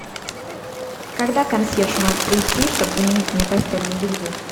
когда консьерж может придти чтобы заменить мне постельное белье